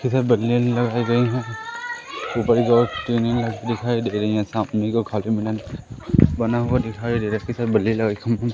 इधर बल्लियां लगाई गई है ऊपर बहोत टीने दिखाई दे रही है सामने को खाली बना हुआ दिखाई दे रहा इसके साथ बल्ले लगा --